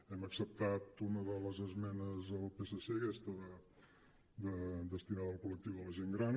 hem acceptat una de les esmenes del psc aquesta destinada al col·lectiu de la gent gran